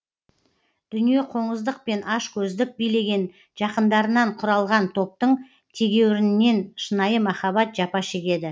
дүниеқоңыздық пен ашкөздік билеген жақындарынан құралған топтың тегеурінінен шынайы махаббат жапа шегеді